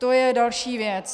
To je další věc.